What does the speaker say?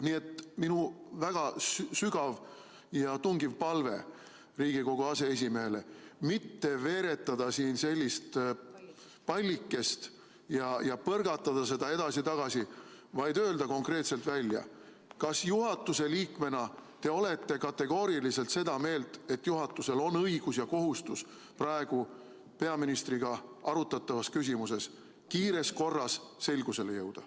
Nii et minu väga sügav ja tungiv palve Riigikogu aseesimehele on mitte veeretada siin sellist pallikest ja põrgatada seda edasi-tagasi, vaid öelda konkreetselt välja, kas te juhatuse liikmena olete kategooriliselt seda meelt, et juhatusel on õigus ja kohustus praegu peaministriga arutatavas küsimuses kiires korras selgusele jõuda.